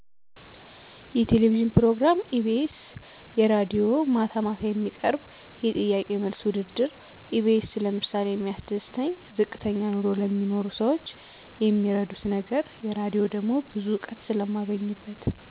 የቴሌቪዥን ፕሮግራም ኢቢኤስ የራድዬ ማታ ማታ የሚቀርብ የጥያቄና መልስ ውድድር ኢቢኤስ ለምሳሌ የሚያስደስተኝ ዝቅተኛ ኑሮ ለሚኖሩ ሰዎች የሚረዱት ነገር የራድሆ ደሞ ብዙ እውቀት ስለማገኝበት